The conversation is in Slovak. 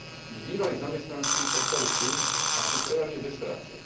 Ich bývalí zamestnanci ostali tu a sú prevažne bez práce.